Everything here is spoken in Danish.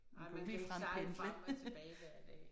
Nej man kan ikke sejle frem og tilbage hver dag